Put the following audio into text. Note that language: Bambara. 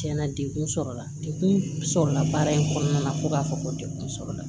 Tiɲɛna degun sɔrɔla la dekun sɔrɔla baara in kɔnɔna na ko k'a fɔ ko degun sɔrɔla